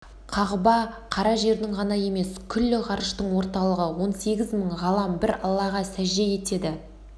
қағба қара жердің ғана емес күллі ғарыштың орталығы он сегіз мың ғалам бір аллаға сәжде етеді